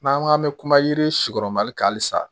N'an ko k'an bɛ kuma yiri si kɔrɔ mali kan halisa